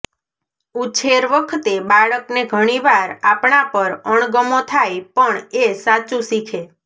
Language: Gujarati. ઉછેર વખતે બાળકને ઘણીવાર આપણા પર અણગમો થાય પણ એ સાચું શીખે